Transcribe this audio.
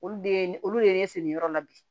Olu de ye ne olu ye ne segin yɔrɔ la bi